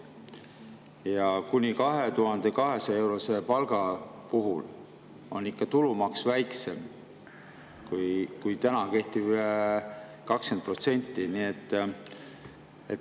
Ja kuni 2200-eurose palga puhul on ikka tulumaks väiksem kui täna kehtiv 20%.